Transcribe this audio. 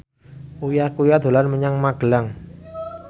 Uya Kuya dolan menyang Magelang